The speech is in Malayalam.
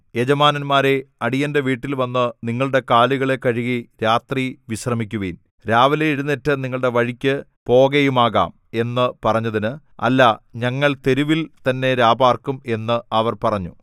യജമാനന്മാരേ അടിയന്റെ വീട്ടിൽ വന്നു നിങ്ങളുടെ കാലുകളെ കഴുകി രാത്രി വിശ്രമിക്കുവിൻ രാവിലെ എഴുന്നേറ്റ് നിങ്ങളുടെ വഴിക്ക് പോകയുമാകാം എന്ന് പറഞ്ഞതിന് അല്ല ഞങ്ങൾ തെരുവിൽ തന്നെ രാപാർക്കും എന്ന് അവർ പറഞ്ഞു